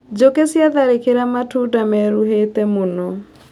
Njũkĩ ciatharĩkĩra matunda meruhĩte mũno.